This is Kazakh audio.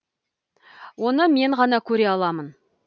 оны мен ғана көре аламын